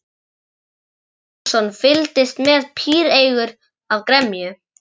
Jón Bjarnason fylgdist með píreygur af gremju.